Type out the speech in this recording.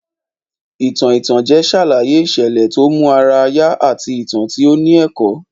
Ìtàn ìtànjẹ ṣàlàyé ìṣẹ̀lẹ̀ tó mú ara yá àti ìtàn tí ó ní ẹ̀kọ́